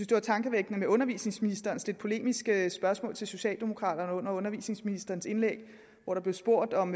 det var tankevækkende med undervisningsministerens lidt polemiske spørgsmål til socialdemokraterne under undervisningsministerens indlæg hvor der blev spurgt om